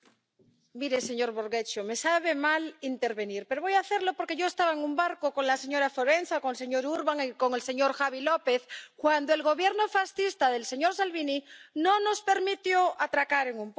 Mire, señor Borghezio, me sabe mal intervenir, pero voy a hacerlo porque yo estaba en un barco con la señora Forenza, con el señor Urbán y con el señor López cuando el Gobierno fascista del señor Salvini no nos permitió atracar en un puerto.